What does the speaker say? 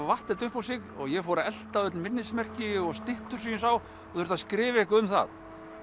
vatt þetta upp á sig og ég fór að elta öll minnismerki og styttur sem ég sá og þurfti að skrifa eitthvað um það